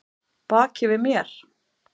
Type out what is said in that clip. Baki við mér?